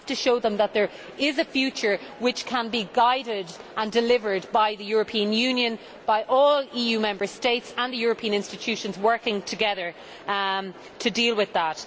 we have to show them that there is a future which can be guided and delivered by the European Union, by all EU Member States and the European Institutions working together to deal with that.